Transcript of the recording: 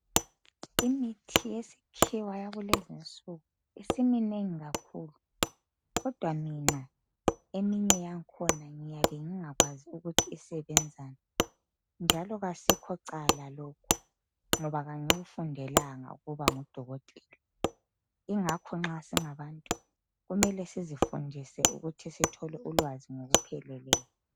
Imithi yesikhiwa yakulezinsuku isiminengi kakhulu. Kodwa mina eminye yangikhona ngiyabe ngingakwazi ukuthi isebenzani njalo akusikho cala lokhu ngoba angikufundelanga ukuba ngudokotela. Ingakho nxa singabantu, kumele sizifundise ukuthi sithole ulwazi ngokupheleleyo.